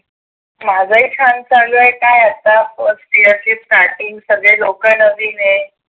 माझ ही छान चालू आहे काय आता फर्स्ट इयर ची starting सगळे लोकं नवीन आहेत